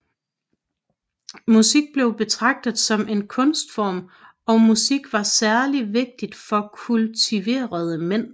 Musik blev betragtet som en kunstform og musik var særligt vigtigt for kultuverede mænd